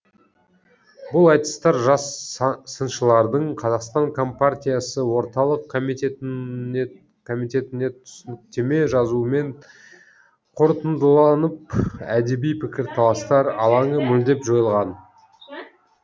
бұл айтыстар жас сыншылардың қазақстан компартиясы орталық комитетіне түсініктеме жазуымен қорытындыланып әдеби пікірталастар алаңы мүлдем жойылған